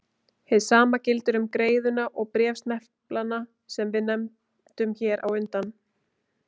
Hið sama gildir um greiðuna og bréfsneplana sem við nefndum hér á undan.